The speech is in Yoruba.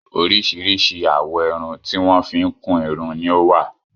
Oríṣìíríṣìí àwọ̀ irun tí wọ́n fi ń kún irun ni ó wà.